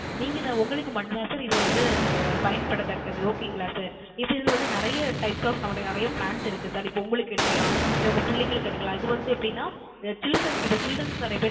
நீங்க இதை உங்களுக்கு மட்டும் தான் Sir இது வந்து பயன்படத்தக்கது Okay களா Sir இப்போ இதில வந்து நிறைய Types of நமக்கு வந்து நிறைய Plans இருக்கு Sir இப்போ உங்களுக்கு எடுக்கலாம் இல்ல உங்க பிள்ளைகளுக்கு எடுக்கலாம் இது வந்து எப்படின Children க்கு இப்போ Children க்கு நிறைய